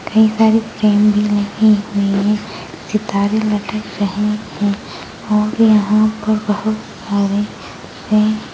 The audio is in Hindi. कई सारी फ्रेम भी लगी हुई हैं सितारे लटक रहे हैं और यहाँ पर बहोत सारे --